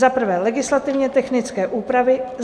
Za prvé, legislativně technické úpravy.